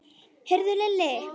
Heyrðu Lilli.